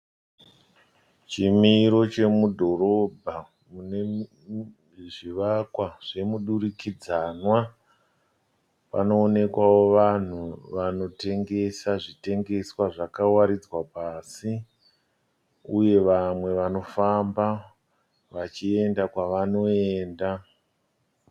Chimiro chemudhorobha mune zvivakwa zvomudurikidzanwa. Panoonekwawo vanhu vanotengesa zvitengeswa zvakawaridzwa pasi uye vamwe vanofamba vachienda kwavanoenda.